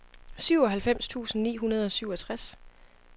syvoghalvfems tusind ni hundrede og syvogtres